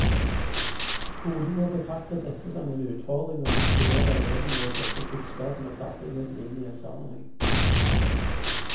Skolen må betrakte dette som en utfordring og motivere elevene ved sette kunnskapen og ferdighetene inn i en sammenheng.